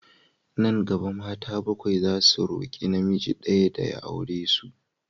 Nan gaba, mata bakwai zasu roƙi namiji ɗaya ya aure su.